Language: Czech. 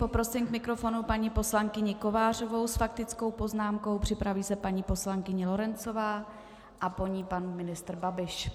Poprosím k mikrofonu paní poslankyni Kovářovou s faktickou poznámkou, připraví se paní poslankyně Lorencová a po ní pan ministr Babiš.